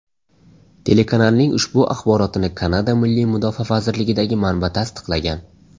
Telekanalning ushbu axborotini Kanada Milliy mudofaa vazirligidagi manba tasdiqlagan.